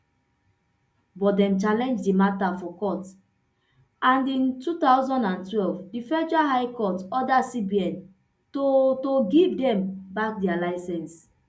but dem challenge di matter for court and in two thousand and twelve di federal high court order cbn to to give dem back dia licence